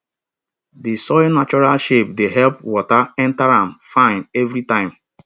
di soil natural shape dey help water enter am fine every time